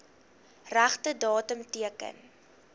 regte datum teken